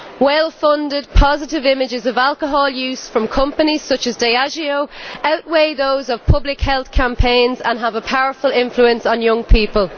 Well funded positive images of alcohol use from companies such as Diageo outweigh those of public health campaigns and have a powerful influence on young people.